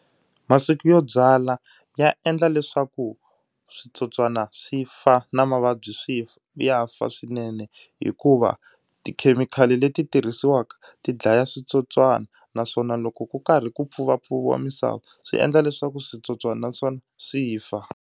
Masiku yo byala ya endla leswaku switsotswana swi fa na mavabyi swi ya fa swinene hikuva tikhemikhali leti tirhisiwaka ti dlaya switswotswana naswona loko ku karhi ku pfuvapfuviwa misava swi endla leswaku switsotswana naswona swi fa.